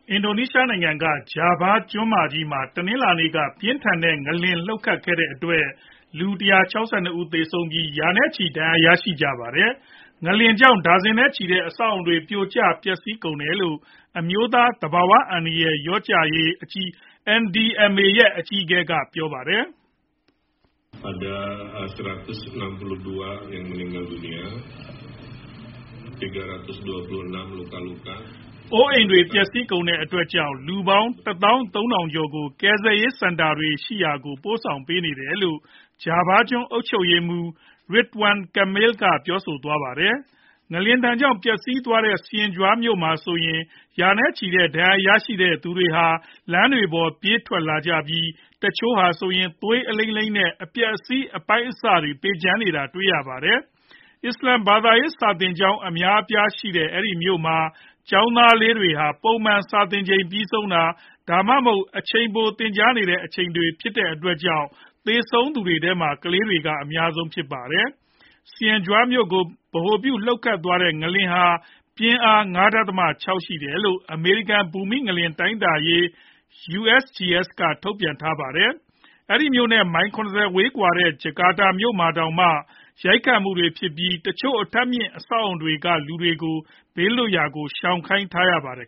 အင်ဒိုနီးရှားနိုင်ငံက ဂျာဗားကျွန်းမကြီးမှာ တနင်္လာနေ့က ပြင်းထန်တဲ့ ငလျင်လှုပ်ခတ်ခဲ့တဲအတွက် လူ ၁၆၂ ဦး သေဆုံးပြီး ရာနဲ့ချီ ဒဏ်ရာတွေ ရရှိကြပါတယ်။ ငလျင်ကြောင့် ဒါဇင်နဲ့ချီရှိကြတဲ့ အဆောက်အအုံတွေ ပြိုကျပျက်စီးကုန်တယ်လို့ အမျိုးသား သဘာဝဘေး အန္တရာယ် လျော့ကျရေး NDMA ရဲ့ အကြီးအကဲ က ပြောပါတယ်။ "အိုးအိမ်တွေ ပျက်စီးကုန်တဲ့အတွက်ကြောင့် လူပေါင်း ၁ သောင်း ၃ ထောင် ကျော်ကို ကယ်ဆယ်ရေးစင်တာ တွေရှိရာကို ပို့ဆောင်ပေးနေတယ်။" လို့ ဂျာဗာကျွန်း အုပ်ချုပ်ရေးမှူး Ridwan Kamil က ပြောသွားတာပါ။ ငလျင်ဒဏ်ကြောင့် ပျက်စီးသွားတဲ့ Cianjur မြို့မှာဆိုရင် ရာနဲ့ချီတဲ့ ဒဏ်ရာရရှိကြသူတွေဟာ လမ်းတွေပေါ် ပြေးထွက်လာကြပြီး တချို့ဟာဆိုရင် သွေးအလိမ်းလိမ်း နဲ့ အပျက်အစီး အပိုင်းအစတွေ ပေကျံနေတာ တွေ့ရပါတယ်။ အစ္စလာမ်ဘာသာရေး စာသင်ကျောင်း အများအပြားရှိတဲ့ အဲဒီမြို့မှာ ကျောင်းသားလေးတွေ ပုံမှန်စာသင်ချိန် ပြီးဆုံးတာ၊ ဒါမှမဟုတ် အချိန်ပို သင်ကြားနေတဲ့အချိန်ဖြစ်တဲ့အတွက်ကြောင့် သေဆုံးသူတွေထဲမှာ ကလေးတွေက အများဆုံးဖြစ်ပါတယ်။ Cianjur မြို့ကို ဗဟိုပြုလှုပ်ခတ်ခဲ့တဲ့ ငလျင်ဟာ ပြင်းအား ၅ ဒသမ ၆ ရှိတယ်လို့ အမေရိကန် ဘူမိ ငလျှင်တိုင်းတာရေး USGS က ထုတ်ပြန်ထားပါတယ်။ အဲဒီမြို့နဲ့ မိုင် ၇ဝ ဝေးကွာတဲ့ ဂျကာတာမြို့တော် မှာတောင်မှ ရိုက်ခတ်မှုတွေ ဖြစ်ပြီး တချို့ အထပ်မြင့် အဆောက်အအုံတွေ က လူတွေကို ဘေးလွတ်ရာကို ရှောင်ခိုင်းရပါတယ်